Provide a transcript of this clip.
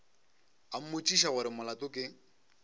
a mmotšiša gore molato ke